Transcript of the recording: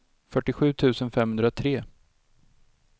fyrtiosju tusen femhundratre